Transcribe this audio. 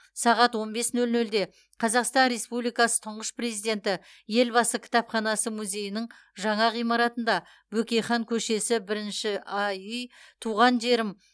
сағат он бес нөл нөлде қазақстан республикасы тұңғыш президенті елбасы кітапханасы музейінің жаңа ғимаратында бөкейхан көшесі бірінші а үй туған жерім